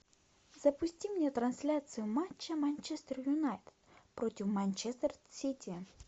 запусти мне трансляцию матча манчестер юнайтед против манчестер сити